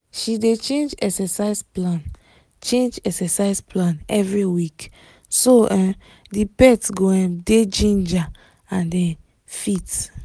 she dey change exercise plan change exercise plan every week so um the pet go um dey ginger and um fit